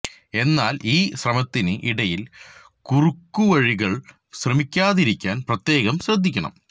എന്നാൽ ഈ ശ്രമത്തിന് ഇടയിൽ കുറുക്കു വഴികൾക്ക് ശ്രമിക്കാതിരിക്കാൻ പ്രത്യേകം ശ്രദ്ധിക്കണം